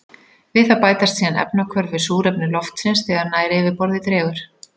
Við það bætast síðan efnahvörf við súrefni loftsins þegar nær yfirborði dregur.